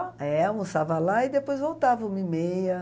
É, almoçava lá e depois voltava uma e meia.